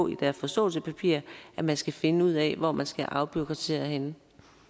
i deres forståelsespapir at man skal finde ud af hvor man skal afbureaukratisere henne